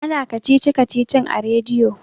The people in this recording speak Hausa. ana kacici-kacicin a rediyo